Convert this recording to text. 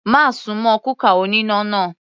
Má súnmọ́ kúkà oníná náà.